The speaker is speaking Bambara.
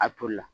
A toli la